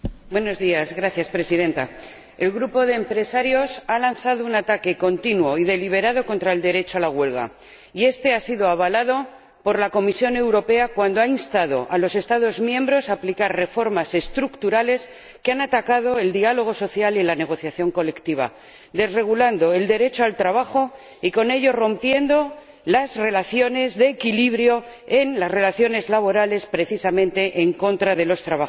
Señora Presidenta, el grupo de empresarios ha lanzado un ataque continuo y deliberado contra el derecho a la huelga, y este ha sido avalado por la Comisión Europea cuando ha instado a los Estados miembros a aplicar reformas estructurales que han dañado el diálogo social y la negociación colectiva, desregulando el derecho al trabajo y rompiendo con ello las relaciones de equilibrio en las relaciones laborales, precisamente en contra de los trabajadores.